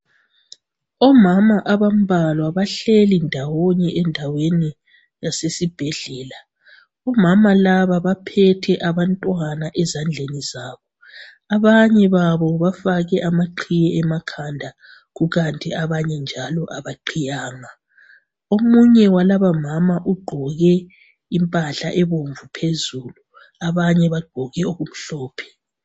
Omama abambalwa bahleli ndawonye endaweni esesibhedlela omama laba baphethe abantwana ezandleni zabo abanye babo bafake amaqhiye emakhanda kukanti abanye njalo abaqhiyanga omunye walaba mama uqgoke impahla ebomvu phezulu abanye baqgoke okumhlophe